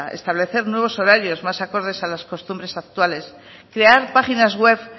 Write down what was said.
establecer nuevos horarios más acordes a las costumbres actuales crear páginas web